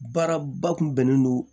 Baara ba kun bɛnnen don